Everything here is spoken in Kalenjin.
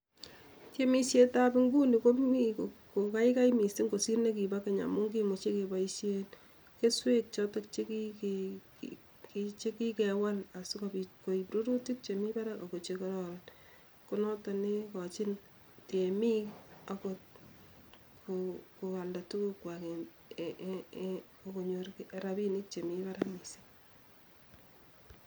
Temisietab inguni komi kokaikai missing kosir nekibo keny amu kimuchi keboisien kesweek choto chekikewal si kobiit koib rurutik chemi barak ak ko chekororon ko notok ne ikochin temiik koalda tukuukwaak eng robiinik che mi barak.